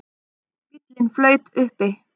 Bíllinn flaut uppi